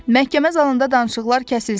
"Məhkəmə zalında danışıqlar kəsilsin!"